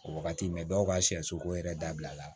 O wagati mɛ dɔw ka siyɛsoko yɛrɛ dabila